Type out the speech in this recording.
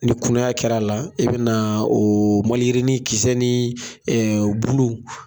Ni kunaya kɛra a la, i bɛna o malljirinin kisɛ ni bulu